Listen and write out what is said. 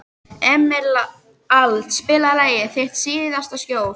Emerald, spilaðu lagið „Þitt síðasta skjól“.